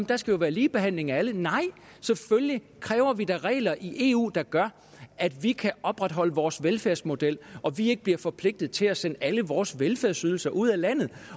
der skal være ligebehandling af alle nej selvfølgelig kræver vi da regler i eu der gør at vi kan opretholde vores velfærdsmodel og vi ikke bliver forpligtet til at sende alle vores velfærdsydelser ud af landet